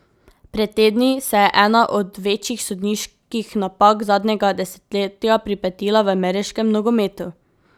Pred tedni se je ena od večjih sodniških napak zadnjega desetletja pripetila v ameriškem nogometu.